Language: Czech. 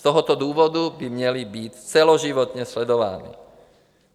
Z toho důvodu by měly být celoživotně sledovány.